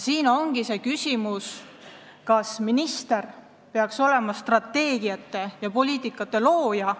Siin tekibki küsimus, kas minister peaks olema strateegiate ja poliitikate looja.